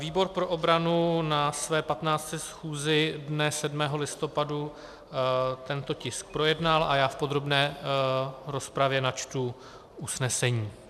Výbor pro obranu na své 15. schůzi dne 7. listopadu tento tisk projednal a já v podrobné rozpravě načtu usnesení.